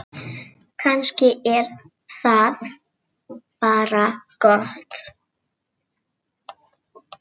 Kannski er það bara gott.